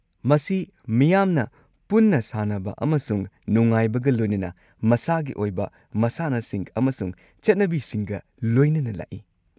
ꯃꯁꯤ ꯃꯤꯌꯥꯝꯅ ꯄꯨꯟꯅ ꯁꯥꯟꯅꯕ ꯑꯃꯁꯨꯡ ꯅꯨꯡꯉꯥꯏꯕꯒ ꯂꯣꯏꯅꯅ ꯃꯁꯥꯒꯤ ꯑꯣꯏꯕ ꯃꯁꯥꯟꯅꯁꯤꯡ ꯑꯃꯁꯨꯡ ꯆꯠꯅꯕꯤꯁꯤꯡꯒ ꯂꯣꯏꯅꯅ ꯂꯥꯛꯏ꯫